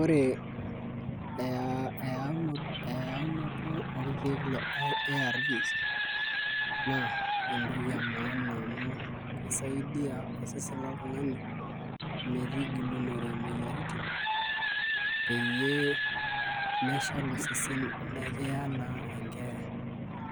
Ore eyaunoto orkiek le ARVs na entoki emaana amu kisaidia osesen loltungani metigilunore moyiaritin peyie meshalu osesen nikiyaa na enkeeya